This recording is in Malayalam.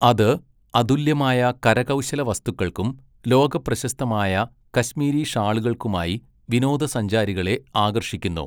അത് അതുല്യമായ കരകൗശലവസ്തുക്കൾക്കും ലോകപ്രശസ്തമായ കശ്മീരി ഷാളുകൾക്കുമായി വിനോദസഞ്ചാരികളെ ആകർഷിക്കുന്നു.